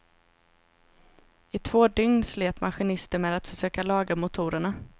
I två dygn slet maskinisten med att försöka laga motorerna.